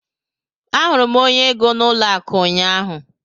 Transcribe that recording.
Ahụrụ m onye ego n'ụlọ akụ ụnyaahụ.